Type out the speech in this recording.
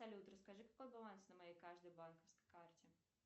салют расскажи какой баланс на моей каждой банковской карте